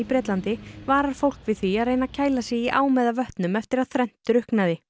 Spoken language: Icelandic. Bretlandi varar fólk við því að reyna að kæla sig í ám eða vötnum eftir að þrennt drukknaði